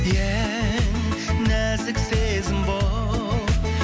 ең нәзік сезім болып